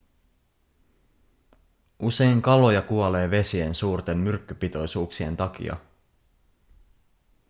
usein kaloja kuolee vesien suurten myrkkypitoisuuksien takia